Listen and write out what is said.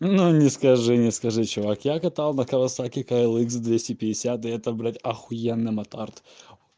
ну скажи не скажи не скажи чувак я катал на кавасаки к л икс за двести пятьдесят и это блять ахуенный мот арт